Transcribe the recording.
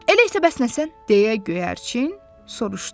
Elə isə bəs nə sən, deyə göyərçin soruşdu.